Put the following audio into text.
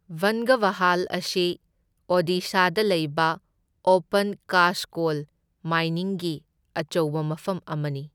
ꯕꯟꯙꯕꯍꯥꯜ ꯑꯁꯤ ꯑꯣꯗꯤꯁꯥꯗ ꯂꯩꯕ ꯑꯣꯄꯟ ꯀꯥꯁꯠ ꯀꯣꯜ ꯃꯥꯏꯅꯤꯡꯒꯤ ꯑꯆꯧꯕ ꯃꯐꯝ ꯑꯃꯅꯤ꯫